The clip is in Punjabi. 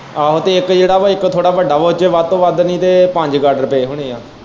ਆਹੋ ਤੇ ਇੱਕ ਜਿਹੜਾ ਵਾ ਇੱਕ ਥੋੜ੍ਹਾ ਵੱਡਾ ਵਾ ਉਹਦੇ ਚ ਵੱਧ ਤੋਂ ਵੱਧ ਨਈ ਤੇ ਪੰਜ ਗਾਡਰ ਪਏ ਹੁਣੇ ਏ।